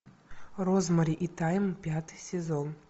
розмари и тайм пятый сезон